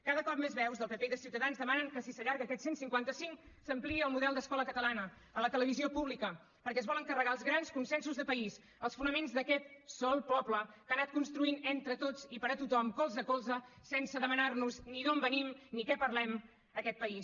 cada cop més veus del pp i de ciutadans demanen que si s’allarga aquest cent i cinquanta cinc s’ampliï al model d’escola catalana a la televisió pública perquè es volen carregar els grans consensos de país els fonaments d’aquest sol poble que ha anat construint entre tots i per a tothom colze a colze sense demanar nos ni d’on venim ni què parlem aquest país